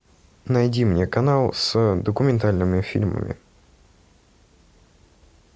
найди мне канал с документальными фильмами